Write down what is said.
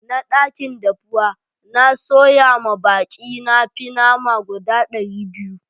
N'na dakin dafuwa, n'na soya ma baki na fi na nama guda dari biyu.